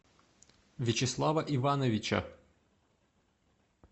вячеслава ивановича